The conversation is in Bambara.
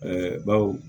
Ɛɛ baw